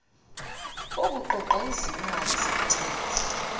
wokuqoqa izimali zentela